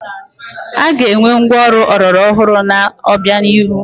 A ga-enwe ngwa ọrụ ọlọrọ ọhụrụ n'obianihu.